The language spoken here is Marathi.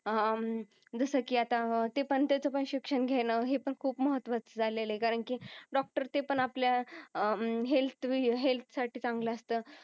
अह जस की आता ते पण त्याच पण शिक्षण घेण हे पण खूप महत्वाच झालेलय कारण की डॉक्टर ते पण आपल्या अह हेल्थ चांगल असत